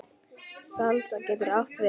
Salsa getur átt við